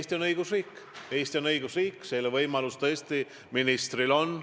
Mul on muidugi hea meel, et Jürgen Ligi fantaasialend on sama kõrge, nagu see on alati olnud.